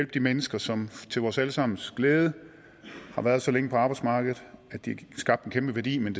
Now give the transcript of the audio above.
de mennesker som til vores alle sammens glæde har været så længe på arbejdsmarkedet at de skabt en kæmpe værdi men